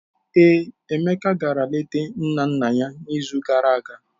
Ee, Emeka gara leta nna nna n'izu gara aga.